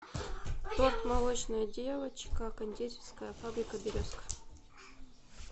торт молочная девочка кондитерская фабрика березка